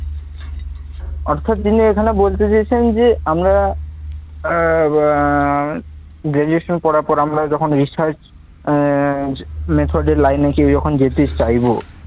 অর্থাৎ তিনি এখানে বলতে চেয়েছেন যে, আমরা আহ আহ graduation করার পরে আমরা যখন research আহ method এর line এ কেউ যেতে চাইব